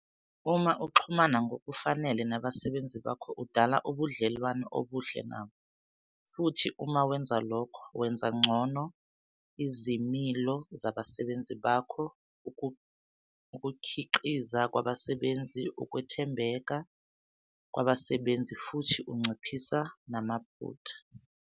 Uma uxhumana ngokufanele nabasebenzi bakho udala ubudlelwano obuhle nabo, futhi uma wenza lokho, wenza ngcono izimilo zabasebenzi bakho, ukukhiqiza kwabasebenzi, ukwethembeka kwabasebenzi futhi unciphisa namaphutha.